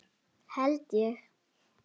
Held ég!